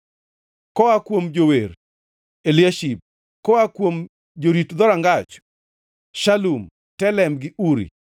Koa kuom jower: Eliashib. Koa kuom jorit dhorangach: Shalum, Telem gi Uri.